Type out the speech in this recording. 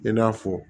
I n'a fɔ